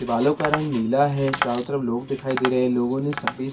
दीवारों का रंग नीला है चारों तरफ लोग दिखाई दे रहे हैं लोगों ने --